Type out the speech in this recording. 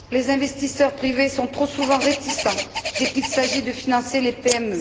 Les investisseurs privés sont trop souvent réticents dès qu'il s'agit de financer les PME.